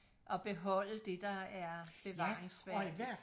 og beholde det der er bevaringsværdigt